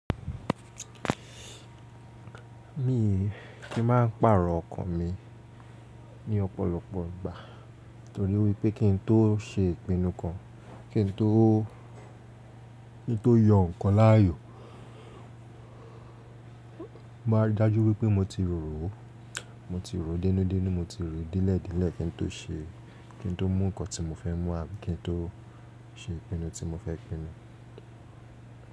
Mi kí maa pàrọ̀ ọkàn mi ní ọ̀pọ̀lọpọ̀ ìgbà torí wípé kín tó ṣe ìpinnu kan, kín tó, kín tó yọ ǹkan láàyò, máa ridajú wípé mo ti rò ó, mo ti rò ó denun denun, mo ti rò ó delẹ̀ delẹ̀ kí n tó ṣe, kín tó mú ǹkan tí mo fẹ́ múwa àbí kín tó ṣe ìpinnu tí mo fẹ́ pinnu.